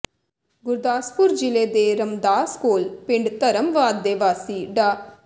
ਗੁਰਦਾਸਪੁਰ ਜ਼ਿਲ੍ਹੇ ਦੇ ਰਮਦਾਸ ਕੋਲ ਪਿੰਡ ਧਰਮਵਾਦ ਦੇ ਵਾਸੀ ਡਾ